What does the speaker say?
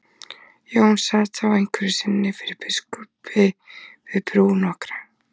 Jón sat þá einhverju sinni fyrir biskupi við brú nokkra.